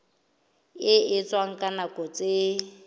e etswang ka nako tse